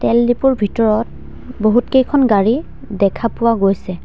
তেল ডিপোৰ ভিতৰত বহুত কেইখন গাড়ী দেখা পোৱা গৈছে।